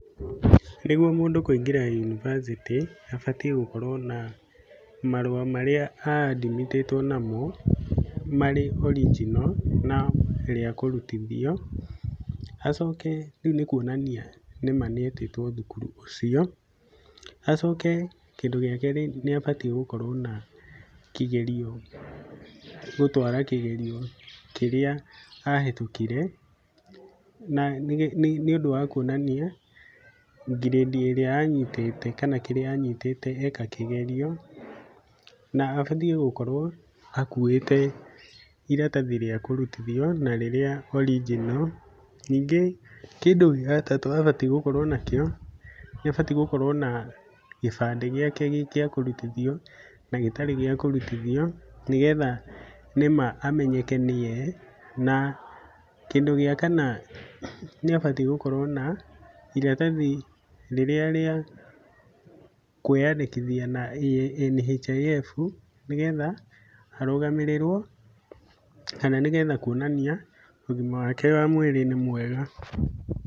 Nĩguo mũndũ kũingĩra yunibacĩtĩ, abatiĩ gũkorwo na marũa marĩa a admit ĩtwo namo, marĩ [c] original na rĩa kũrutithio, acoke, ũũ nĩ kuonania nĩma nĩ etĩtwo thukuru ũcuo, acoke kĩndũ gĩa kerĩ nĩabatiĩ gũkorwo na kĩgerio, gũtwara kĩgerio kĩrĩa ahetũkire, na nĩ ũndũ wa kuonania ngirĩndi ĩrĩa anyitĩte, kana kĩrĩa anyitĩte eka kĩgerio, na abatiĩ gũkorwo akuwĩte iratathi rĩa kũrutithio na rĩrĩa original. Ningĩ kindũ gĩa gatatũ abatiĩ gũkorwo nakĩo, nĩ abatiĩ gũkorwo na gĩbandĩ gĩake gĩgĩakũrutithio, na gĩtarĩ gĩa kũrutithio, nĩgetha nĩma amenyeke nĩwe. Na kĩndũ gĩa kana, nĩ abatiĩ gũkorwo na, iratathi rĩrĩa rĩa kũĩyandĩkithia na NHIF, nĩgetha arũgamĩrĩrwo, kana nĩgetha kuonania ũgima wake mwĩrĩ nĩ mwega.